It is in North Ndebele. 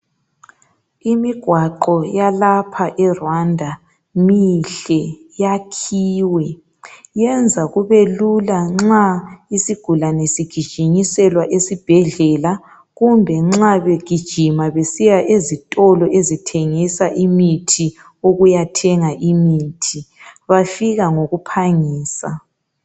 Imigwaqo yalapha eRwanda mihle, yakhiwe .Yenza kubelula nxa isigulane sigijinyiselwa esibhedlela kumbe nxa begijima besiya ezitolo ezithengisa imithi ukuya thenga imithi, bafika ngokuphangisa.